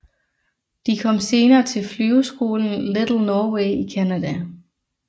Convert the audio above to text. De kom senere til flyveskolen Little Norway i Canada